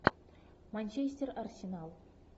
манчестер арсенал